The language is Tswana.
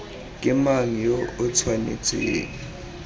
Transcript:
ke mang yo o tshwanetseng